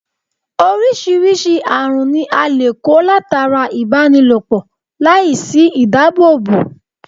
Orisirisi aarun ni a le ko latara ibanilopọ lai si idaabobo